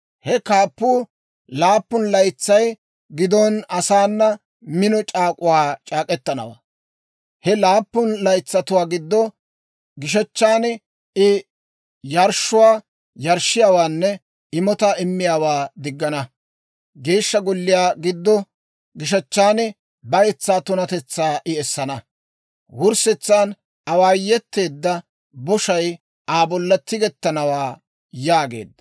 He kaappuu laappun laytsay gidon asaana mino c'aak'uwaa c'aak'k'etanawaa. He laappun laytsatuwaa gido gishechchan I yarshshuwaa yarshshiyaawaanne imotaa immiyaawaa diggana. Geeshsha golliyaw giddo gishechchan bayetsaa tunatetsaa I essana. Wurssetsan awaayeteedda boshay Aa bolla tigettanawaa» yaageedda.